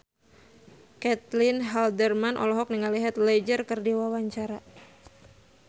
Caitlin Halderman olohok ningali Heath Ledger keur diwawancara